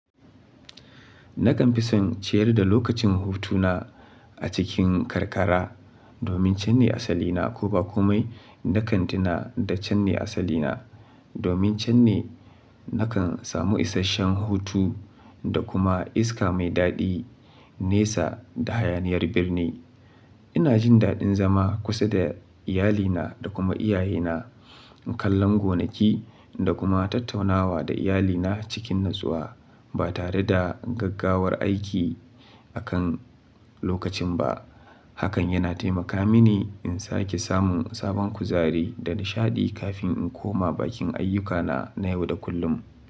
Nakan fi son ciyar da lokacin hutu na a cikin karkara domin can ne asali na ko ba komai. Nakan tuna da can ne asali na. Domin can ne nakan samu isashen hutu da kuma iska mai daɗi, nesa da hayaniyar birni. Ina jin daɗin zama kusa da iyalina da kuma iyaye na, kallon gonaki da kuma tattaunawa da iyalina cikin natsuwa ba tare da gaggawar aiki akan lokacin ba. Hakan yana taimaka mini in sake samun sabon kuzari da nishaɗi kafin in koma bakin ayyukana na yau da kullum.